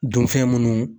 Dunfɛn munnu